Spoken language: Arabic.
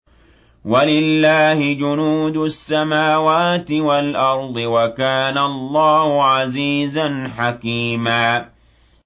وَلِلَّهِ جُنُودُ السَّمَاوَاتِ وَالْأَرْضِ ۚ وَكَانَ اللَّهُ عَزِيزًا حَكِيمًا